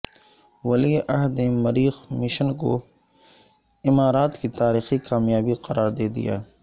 ولی عہد نے مریخ مشن کو امارات کی تاریخی کامیابی قرار دیدیا